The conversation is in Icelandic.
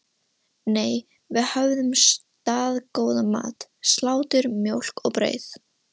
Nei, við höfðum staðgóðan mat: Slátur, mjólk og brauð.